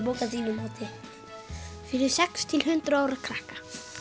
bók að þínu mati fyrir sex til hundrað ára krakka